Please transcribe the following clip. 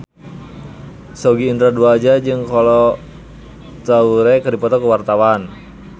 Sogi Indra Duaja jeung Kolo Taure keur dipoto ku wartawan